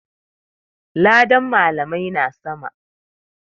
Ladan malamai na sama.